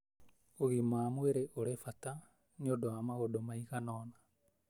ũgima wa mwĩrĩ ũrĩ bata nĩ ũndũ wa maũndũ maiganona: